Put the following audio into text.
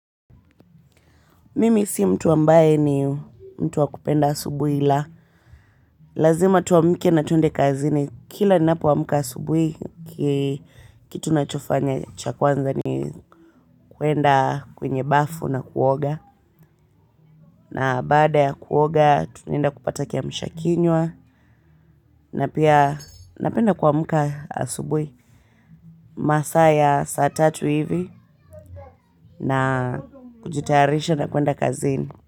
Mimi si mtu ambaye ni mtu wa kupenda asubuhi la. Lazima tuamke na twende kazini. Kila ninapo amka asubuhi kitu nachofanya cha kwanza ni kuenda kwenye bafu na kuoga. Na baada ya kuoga tunaenda kupata kiamsha kinywa na pia napenda kuamka asubuhi masaa ya saa tatu hivi na kujitayarisha na kwenda kazini.